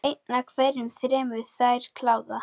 Einn af hverjum þremur fær kláða.